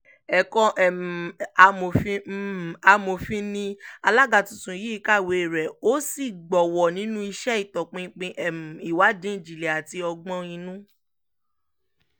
ẹ̀kọ́ um amòfin um amòfin ni alága tuntun yìí kàwéè rẹ̀ ó sì gbowó nínú iṣẹ́ ìtọpinpin um ìwádìí ìjìnlẹ̀ àti ọgbọ́n-inú